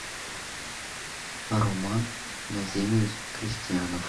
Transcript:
роман назимович крестьянов